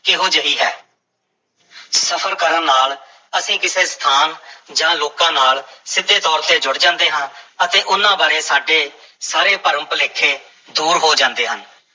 ਕਿਹੋ ਜਿਹੀ ਹੈ ਸਫ਼ਰ ਕਰਨ ਨਾਲ ਅਸੀਂ ਕਿਸੇ ਸਥਾਨ ਜਾਂ ਲੋਕਾਂ ਨਾਲ ਸਿੱਧੇ ਤੌਰ ਤੇ ਜੁੜ ਜਾਂਦੇ ਹਾਂ ਅਤੇ ਉਹਨਾਂ ਬਾਰੇ ਸਾਡੇ ਸਾਰੇ ਭਰਮ-ਭੁਲੇਖੇ ਦੂਰ ਹੋ ਜਾਂਦੇ ਹਨ।